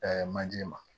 manje ma